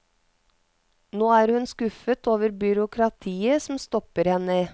Nå er hun skuffet over byråkratiet som stopper henne.